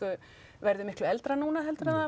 verður miklu eldra núna heldur en það